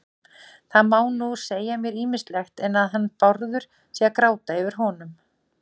Það má nú segja mér ýmislegt, en að hann Bárður sé að gráta yfir honum